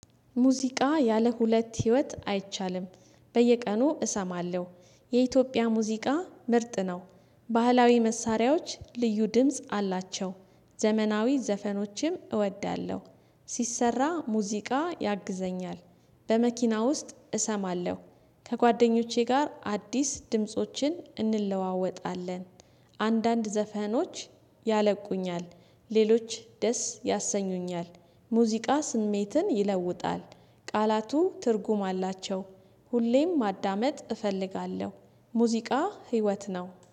ሙዚቃ ያለ ሁለት ህይወት አይቻልም በየቀኑ እሰማለሁ የኢትዮጵያ ሙዚቃ ምርጥ ነው ባህላዊ መሳሪያዎች ልዩ ድምጽ አላቸው ዘመናዊ ዘፈኖችም እወዳለሁ ስሰራ ሙዚቃ ያግዘኛል በመኪና ውስጥ እሰማለሁ ከጓደኞቼ ጋር አዲስ ድምፆችን እንለዋወጣለን አንዳንድ ዘፈኖች ያነቁኛል ሌሎች ደስ ያሰኙኛል ሙዚቃ ስሜትን ይለውጣል ቃላቱ ትርጉም አላቸው ሁሌም ማዳመጥ እፈልጋለሁ ሙዚቃ ህይወት ነው።